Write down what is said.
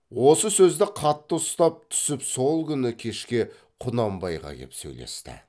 осы сөзді қатты ұстап түсіп сол күні кешке құнанбайға кеп сөйлесті